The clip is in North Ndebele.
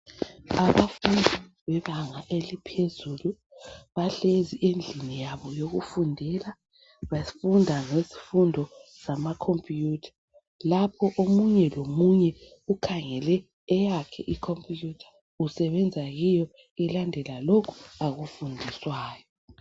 Abafundi bebanga eliphezulu bahlezi endlini yabo yokufundela. Bafunda isifundo samakhomputha. Lapho omunye lomunye ukhangele eyakhe ikhomputha usebenza kiyo elandela lokhu akufundiswayo.